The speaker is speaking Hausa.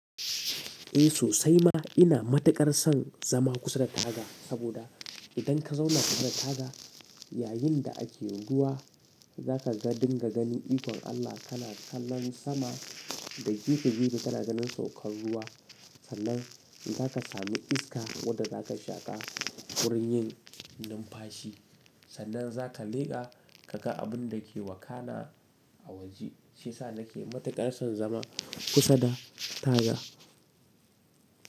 Eh sosai ma ina matuƙar son zama kusa da taga, saboda idan ka zauna kusa da taga yayinda ake ruwa, zaka dinga ganin ikon Allah kana kallon sama da gefe-gefe kana ganin saukar ruwa. Sannan in zaka sami iska wadda zaka shaƙa wurin yin numfashi, sannan zaka leƙa ka ga abun dake wakana a waje. Shiyasa nake matuƙar son zama kusa da taga.